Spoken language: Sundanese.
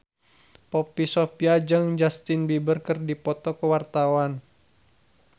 Poppy Sovia jeung Justin Beiber keur dipoto ku wartawan